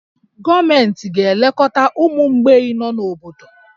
Gọọmenti ga-elekọta ụmụ mgbei nọ n'obodo